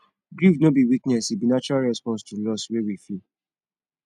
grief no be weakness e be natural response to loss wey we feel